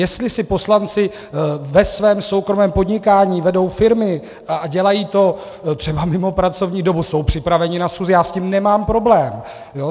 Jestli si poslanci ve svém soukromém podnikání vedou firmy a dělají to třeba mimo pracovní dobu, jsou připraveni na schůzi, já s tím nemám problém.